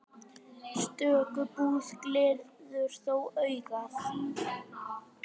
Stöku búð gleður þó augað.